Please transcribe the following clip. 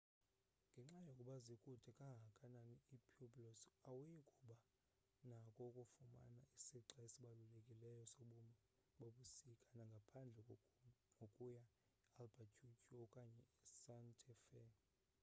ngenxa yokuba zikude kangakanani ii-pueblos awuyi kuba nakho ukufumana isixa esibalulekileyo sobomi bobusuku ngaphandle kokuya ealbuquerque okanye esanta fe